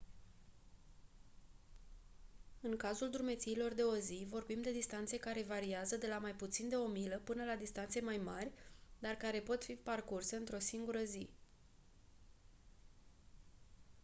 în cazul drumețiilor de o zi vorbim de distanțe care variază de la mai puțin de o milă până la distanțe mai mari dar care pot fi parcurse într-o singură zi